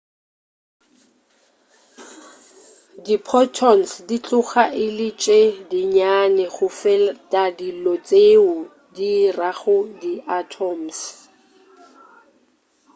diphotons di tloga e le tše dinnyane go feta dilo tšeo di dirago di atoms